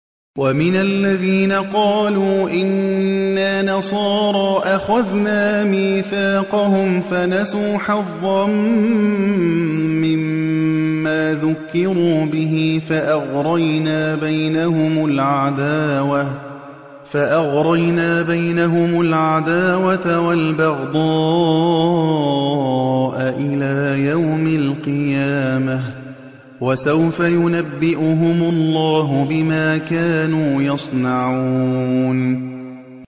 وَمِنَ الَّذِينَ قَالُوا إِنَّا نَصَارَىٰ أَخَذْنَا مِيثَاقَهُمْ فَنَسُوا حَظًّا مِّمَّا ذُكِّرُوا بِهِ فَأَغْرَيْنَا بَيْنَهُمُ الْعَدَاوَةَ وَالْبَغْضَاءَ إِلَىٰ يَوْمِ الْقِيَامَةِ ۚ وَسَوْفَ يُنَبِّئُهُمُ اللَّهُ بِمَا كَانُوا يَصْنَعُونَ